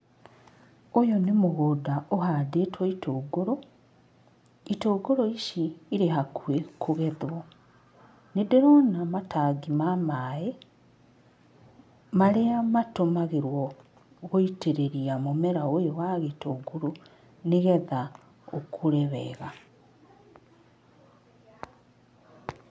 Ũyũ nĩ mũgũnda ũhandĩtwo itũngũrũ, itũngũrũ ici irĩ hakuhĩ kũgethwo. Nĩndĩrona matangi ma maĩ marĩa matũmagĩrwo gũitĩrĩria mũmera ũyũ wa gĩtũngũrũ nĩgetha ũkũre wega.